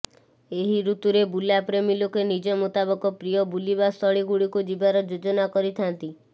ଏହି ଋତୁରେ ବୁଲା ପ୍ରେମୀ ଲୋକେ ନିଜ ମୁତାବକ ପ୍ରିୟ ବୁଲିବାସ୍ଥଳୀ ଗୁଡ଼ିକୁ ଯିବାର ଯୋଜନା କରିଥାନ୍ତି